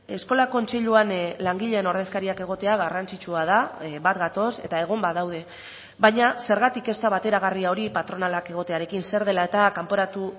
eskola kontseiluan langileen ordezkariak egotea garrantzitsua da bat gatoz eta egon badaude baina zergatik ez da bateragarria hori patronalak egotearekin zer dela eta kanporatu